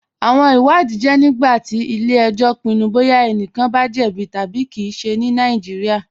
Awọn ìwàdìí jẹ nígbàtí ilẹ̀-ẹ̀jọ̀ pinnu bọya ẹ̀nìkàn bá jẹ̀bí tabi kí ìṣẹ̀ ní Nàìjíríà.